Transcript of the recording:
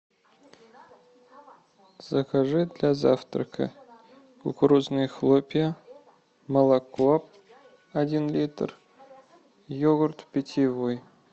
закажи для завтрака кукурузные хлопья молоко один литр йогурт питьевой